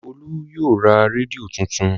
Olú yóò ra rédíò tuntun.